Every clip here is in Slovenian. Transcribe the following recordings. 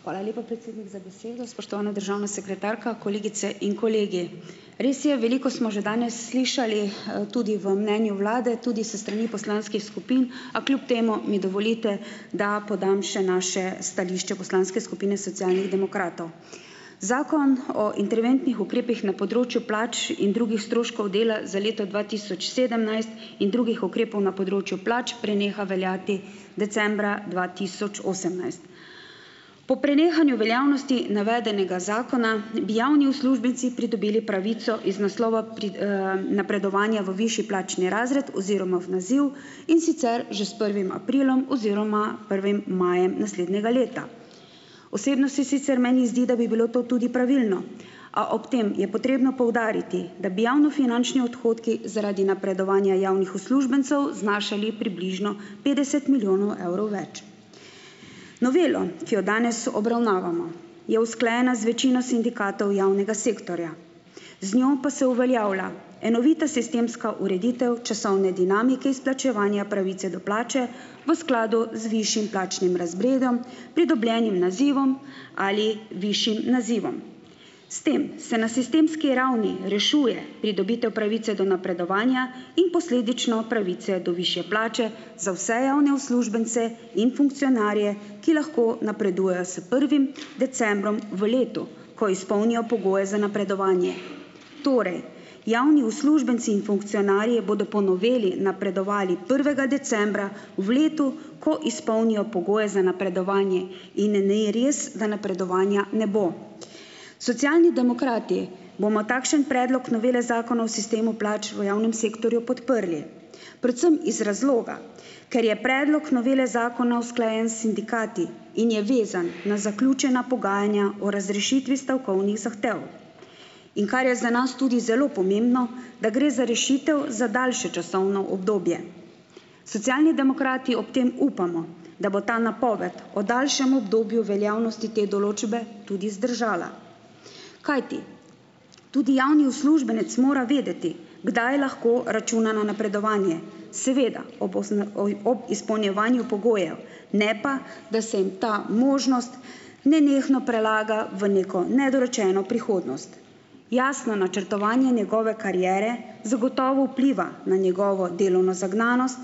Hvala lepa, predsednik, za besedo. Spoštovana državna sekretarka, kolegice in kolegi. Res je, veliko smo že danes slišali, tudi v mnenju Vlade, tudi s strani poslanskih skupin, a kljub temu mi dovolite, da podam še naše stališče poslanske skupine Socialnih demokratov. Zakon o interventnih ukrepih na področju plač in drugih stroškov dela za leto dva tisoč sedemnajst in drugih ukrepov na področju plač preneha veljati decembra dva tisoč osemnajst. Po prenehanju veljavnosti navedenega zakona javni uslužbenci pridobili pravico iz naslova pri, napredovanja v višji plačni razred oziroma v naziv, in sicer že s prvim aprilom oziroma prvim majem naslednjega leta. Osebno si sicer meni zdi, da bi bilo to tudi pravilno, a ob tem je potrebno poudariti, da bi javnofinančni odhodki zaradi napredovanja javnih uslužbencev znašali približno petdeset milijonov evrov več. Novela, ki jo danes obravnavamo, je usklajena z večino sindikatov javnega sektorja. Z njo pa se uveljavlja enovita sistemska ureditev časovne dinamike izplačevanja pravice do plače v skladu z višjim plačnim razredom, pridobljenim nazivom ali višjim nazivom. S tem se na sistemski ravni rešuje pridobitev pravice do napredovanja in posledično pravice do višje plače za vse javne uslužbence in funkcionarje, ki lahko napredujejo s prvim decembrom v letu, ko izpolnijo pogoje za napredovanje. Torej, javni uslužbenci in funkcionarji bodo po noveli napredovali prvega decembra v letu, ko izpolnijo pogoje za napredovanje. In ni res, da napredovanja ne bo. Socialni demokrati bomo takšen predlog novele zakona o sistemu plač v javnem sektorju podprli, predvsem iz razloga, ker je predlog novele zakona usklajen s sindikati in je vezan na zaključena pogajanja o razrešitvi stavkovnih zahtev. In kar je za nas tudi zelo pomembno, da gre za rešitev za daljše časovno obdobje. Socialni demokrati ob tem upamo, da bo ta napoved o daljšem obdobju veljavnosti te določbe tudi zdržala, kajti tudi javni uslužbenec mora vedeti, kdaj lahko računa na napredovanje, seveda, ob osna oi ob izpolnjevanju pogojev, ne pa, da se jim ta možnost nenehno prelaga v neko nedorečeno prihodnost. Jasno načrtovanje njegove kariere zagotovo vpliva na njegovo delovno zagnanost,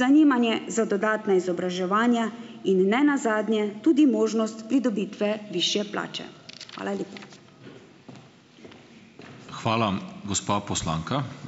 zanimanje za dodatna izobraževanja in ne nazadnje tudi možnost pridobitve višje plače. Hvala lepa.